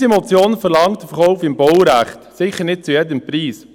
Unsere Motion verlangt den Verkauf im Baurecht, sicher nicht zu jedem Preis.